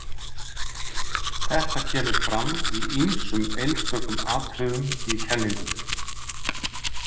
Þetta kemur fram í ýmsum einstökum atriðum í kenningunni.